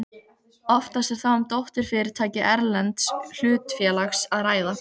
Oftast er þá um dótturfyrirtæki erlends hlutafélags að ræða.